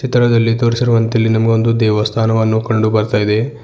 ಚಿತ್ರದಲ್ಲಿ ತೋರಿಸಿರುವಂತೆ ಇಲ್ಲಿ ನಮಗೆ ಒಂದು ದೇವಸ್ಥಾನವನ್ನು ಕಂಡುಬರುತ್ತಾಯಿದೆ.